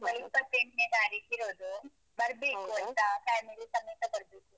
ಇಪ್ಪತ್ತೆಂಟ್ನೇ ತಾರೀಖಿರೋದು. ಬರ್ಬೇಕು ಆಯ್ತಾ? family ಸಮೇತ ಬರ್ಬೇಕು.